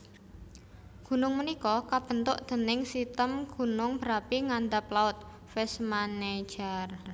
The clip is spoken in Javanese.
Gunung punika kabentuk déning sitem gunung berapi ngandhap laut Vestmannaeyjar